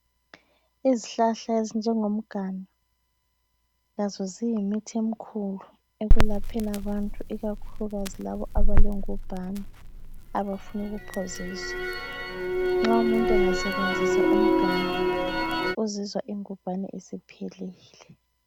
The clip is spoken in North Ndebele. Izihlahla ezinjengomganu lazo ziyimithi emkhulu ekwelapheni abantu ikakhulukazi labo abalengubhane abafuna ukuphoziswa. Nxa umuntu engasebenzisa umganu uzizwa ingubhane isiphelile.